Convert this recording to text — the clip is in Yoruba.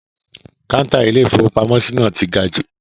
Kọ́ńtà Ilé-ìfowópamọ́sí náà ti ga jù.